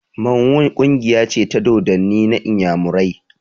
Mmanwu ƙungiya ce ta dodanni na inyamurai